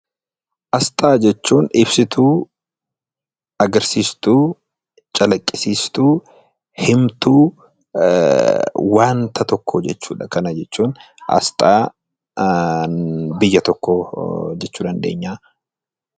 Asxaa jechuun ibsituu, calaqqisiistuu, himtuu wanta tokkoo jechuudha. Kana jechuun asxaa biyya tokkoo jechuu dandeenya.